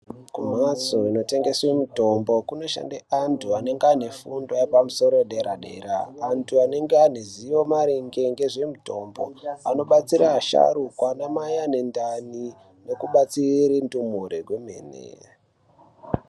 Kumbatso inotengeswe mitombo kunoshande antu anenge aine fundo yepamusoro yedera dera, antu anenge aine zivo maringe ngezvemutombo anobatsira asharukwa anamai anendani nekubatsire ndumure kwemene.